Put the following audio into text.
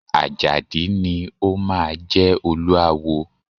Àjàdí ni o máa jẹ Olúawo.